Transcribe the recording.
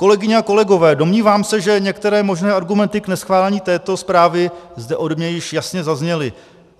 Kolegyně a kolegové, domnívám se, že některé možné argumenty k neschválení této zprávy zde ode mne již jasně zazněly.